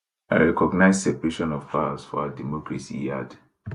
i recognize separation of powers for our democracy e add